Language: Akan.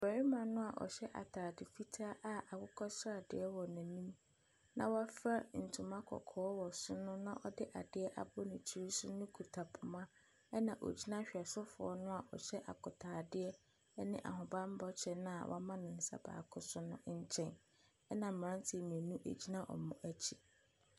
Barima no ɔhyɛ atade fitaa a akokɔsradeɛ wɔ n'anim, na wɔafira ntoma kɔkɔɔ wɔ so no, na ɔde adeɛ abɔ ne tiri so no kita poma, ɛna ɔguina hwesofoɔ no a ɔhyɛ akotadeɛ ne ahobammɔ kyɛ no a wama ne nsa baako so no nkyɛn. Ɛna mmeranteɛ mmienu gyina wɔn akyi.